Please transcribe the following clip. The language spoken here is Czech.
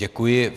Děkuji.